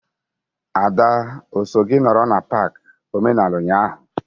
Ada o so gị nọrọ n'pak omenala ụnyaahụ?